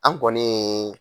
An kɔniii.